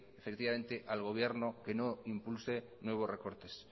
efectivamente el gobierno que no impulse nuevos recortes